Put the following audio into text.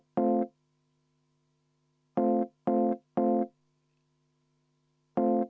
Aitäh!